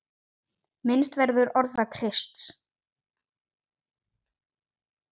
Minnst verður orða Krists.